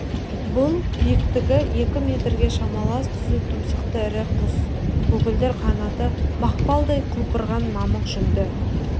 бұл биіктігі екі метрге шамалас түзу тұмсықты ірі құс көгілдір қанатты мақпалдай құлпырған мамық жүнді